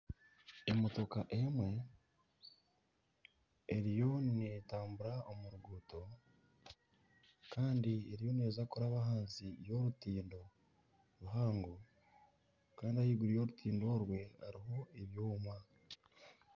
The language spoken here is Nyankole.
Emotooka emwe eriyo netambura omu ruguuto kandi eriyo neeza kuraba ahansi y'orutindo ruhango kandi ahaiguru y'orutindo orwe hariho ebyoma.